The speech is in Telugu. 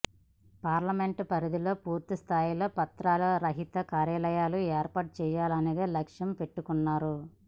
పార్లమెంట్ పరిధిలో పూర్తిస్థాయిలో పత్రాల రహిత కార్యాలయాలు ఏర్పాటు చేయాలనేది లక్షంగా పెట్టుకున్నారు